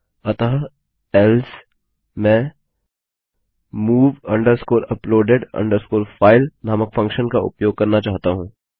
अतः एल्से मैं move uploaded file नामक फंक्शन का उपयोग करना चाहता हूँ